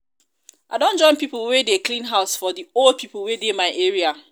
i don join pipo wey dey clean house for old pipo wey dey my area.